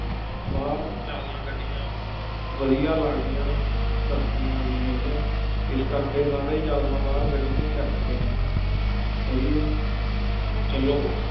ਬਾਹਰ ਜ਼ਿਆਦਾ ਗੱਡੀਆਂ ਵਧੀਆ ਲੱਗਦੀਆਂ ਨੇ, ਸ਼ਸ਼ਤੀਆਂ ਵੀ ਹੈਗੀਆਂ, ਇਸ ਕਰਕੇ ਸਾਰੇ ਜ਼ਿਆਦਾ ਬਾਹਰ ਗੱਡੀਆਂ ਹੀ ਰੱਖਦੇ ਨੇ ਸਹੀ ਹੈ ਚੱਲੋ,